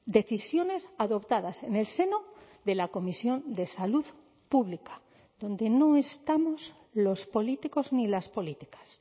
decisiones adoptadas en el seno de la comisión de salud pública donde no estamos los políticos ni las políticas